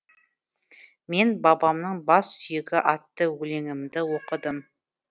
мен бабамның бас сүйегі атты өлеңімді оқыдым